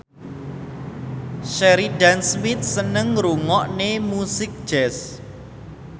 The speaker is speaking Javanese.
Sheridan Smith seneng ngrungokne musik jazz